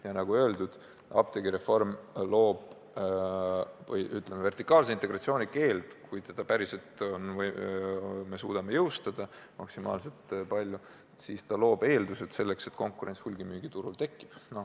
Ja nagu öeldud, apteegireform loob eeldused selleks, et kui me suudame vertikaalse integratsiooni keelu päriselt jõustada, siis konkurents hulgimüügiturul tekib.